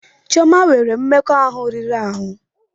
Chioma nwere mmekọahụ riri ahụ.